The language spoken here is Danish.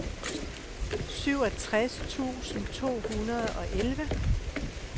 syvogtres tusind to hundrede og elleve